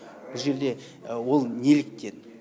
бұ жерде ол неліктен